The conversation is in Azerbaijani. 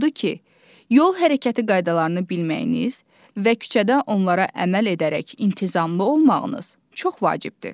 Odur ki, yol hərəkəti qaydalarını bilməyiniz və küçədə onlara əməl edərək intizamlı olmağınız çox vacibdir.